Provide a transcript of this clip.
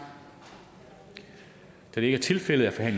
da det ikke er tilfældet er